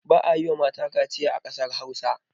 Ba a yiwa mata kaciya a ƙasar Hausa.